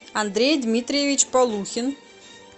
андрей дмитриевич полухин